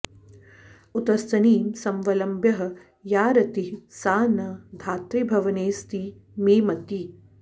उत्स्तनीं समवलम्ब्य या रतिः सा न धातृभवनेऽस्ति मे मतिः